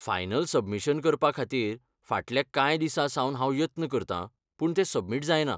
Final submission करपा खातीर फाटल्या कांय दिसां सावन हांव यत्न करतां, पूण तें सबमिट जायना.